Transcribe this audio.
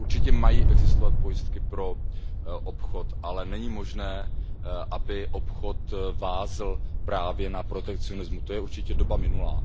Určitě mají existovat pojistky pro obchod, ale není možné, aby obchod vázl právě na protekcionismu, to je určitě doba minulá.